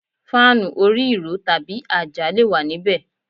Fáànù orí ìró tàbí àjà le wà níbẹ̀.